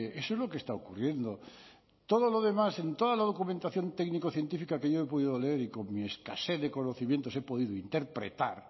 eso es lo que está ocurriendo todo lo demás en toda la documentación técnico científica que yo he podido leer y con mi escasez de conocimientos he podido interpretar